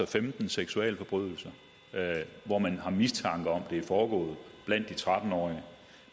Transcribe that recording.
femten seksualforbrydelser hvor man har mistanke om det er foregået blandt de tretten årige